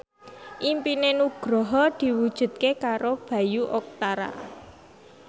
impine Nugroho diwujudke karo Bayu Octara